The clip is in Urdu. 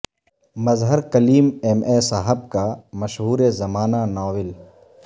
مظہر کلیم ایم اے صاحب کا مشہور زمانہ ناول